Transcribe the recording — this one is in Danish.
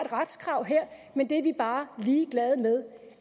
retskrav her men det er vi bare ligeglade med